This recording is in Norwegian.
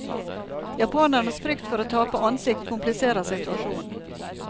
Japanernes frykt for å tape ansikt kompliserer situasjonen.